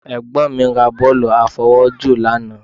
Ẹ̀gbọ́n mi ra bọ́ọ̀lù àfọwọ́jù lánàá